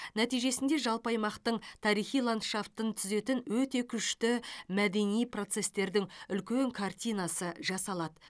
нәтижесінде жалпы аймақтың тарихи ландшафтын түзетін өте күшті мәдени процестердің үлкен картинасы жасалады